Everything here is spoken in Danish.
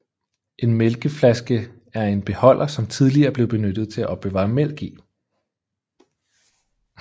En mælkeflaske er en beholder som tidligere blev benyttet til at opbevare mælk i